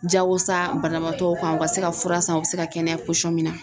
Jagosa banabaatɔw kan u ka se ka fura san u bɛ se ka kɛnɛya min na.